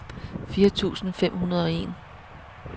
fire tusind fem hundrede og en